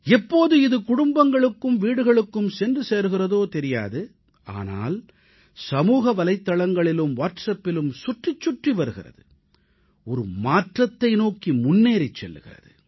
எப்போது இது குடும்பங்களுக்கும் வீடுகளுக்கும் சென்று சேர்கிறதோ தெரியாது ஆனால் சமூக வலைத்தளங்களிலும் வாட்ஸ்அப்பிலும் சுற்றிச் சுற்றி வருகிறது ஒரு மாற்றத்தை நோக்கி முன்னேறிச் செல்கிறது